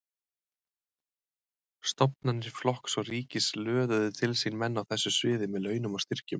Stofnanir flokks og ríkis löðuðu til sín menn á þessu sviði með launum og styrkjum.